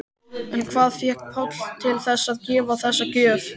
En hvað fékk Pál til þess að gefa þessa gjöf?